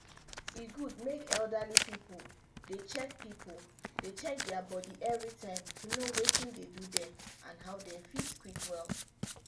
e good make elderly pipu dey check pipu dey check dia body everytime to know watin dey do dem and how dem fit quick well.